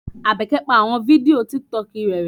Abeke pa awọn fidio Tìkítọkì rẹ rẹ̀